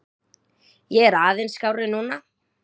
Ég er aðeins skárri núna.